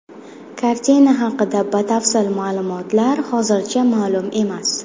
Kartina haqida batafsil ma’lumotlar hozircha ma’lum emas.